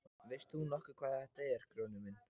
Veist þú nokkuð hvað þetta er Grjóni minn.